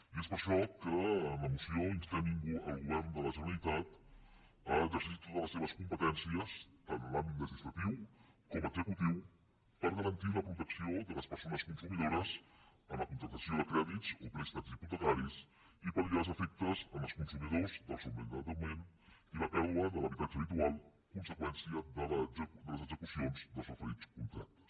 i és per això que en la moció instem el govern de la generalitat a exercir totes les seves competències tant en l’àmbit legislatiu com executiu per garantir la protecció de les persones consumidores en la contractació de crèdits o préstecs hipotecaris i palels consumidors del sobreendeutament i la pèrdua de l’habitatge habitual conseqüència de les execucions dels referits contractes